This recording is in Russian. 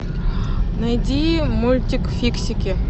найди мультик фиксики